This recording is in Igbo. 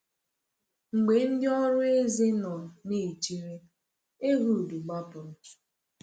Mgbe ndị ọrụ eze nọ na-echere, Ehud gbapụrụ.